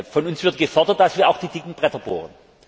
Von uns wird gefordert, dass wir auch die dicken Bretter bohren.